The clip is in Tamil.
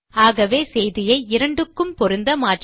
ஆகவே செய்தியை இரண்டுக்கும் பொருந்த மாற்றலாம்